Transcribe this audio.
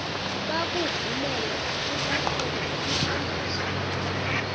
bakuvumele ukuqhuba umthandazo